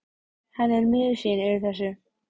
Hann er miður sín yfir þessu.